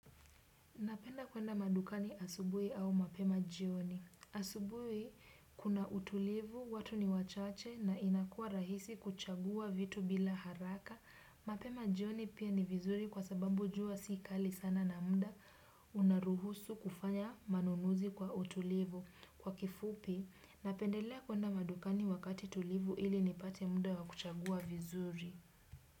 Napenda kwenda madukani asubui au mapema jioni. Asubuhi kuna utulivu, watu ni wachache na inakua rahisi kuchagua vitu bila haraka. Mapema jioni pia ni vizuri kwa sababu jua si kali sana na muda unaruhusu kufanya manunuzi kwa utulivu. Kwa kifupi, napendelea kwenda madukani wakati tulivu ili nipate muda wa kuchagua vizuri.